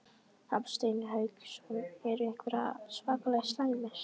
Hafsteinn Hauksson: En eru einhverjir svakalega slæmir?